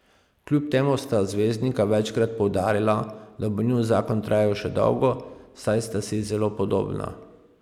Kljub temu sta zvezdnika večkrat poudarila, da bo njun zakon trajal še dolgo, saj sta si zelo podobna.